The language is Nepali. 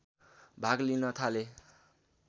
भाग लिन थाले